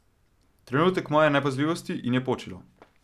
Trenutek moje nepazljivosti, in je počilo.